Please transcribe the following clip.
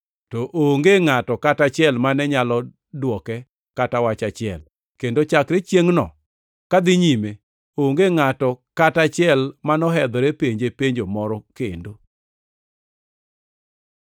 To onge ngʼato kata achiel mane nyalo dwoke kata wach achiel, kendo chakre chiengʼno kadhi nyime, onge ngʼato kata achiel manohedhore penje penjo moro kendo.